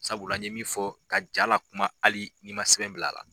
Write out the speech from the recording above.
Sabula ye min fɔ, ka ja lakuma hali ni ma sɛbɛn bila la.